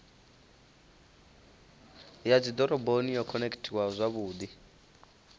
ya dzidoroboni yo khonekhithiwaho zwavhudi